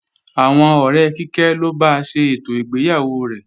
Àwọn ọ̀rẹ́ Kíkẹ́ ló ba ṣe ètò ìgbéyàwó rẹ̀